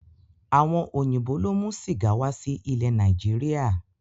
Àwọn òyìnbó ló mú sìgá wá sí ilẹ Nàìjíríà